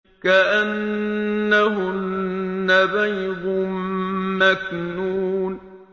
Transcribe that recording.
كَأَنَّهُنَّ بَيْضٌ مَّكْنُونٌ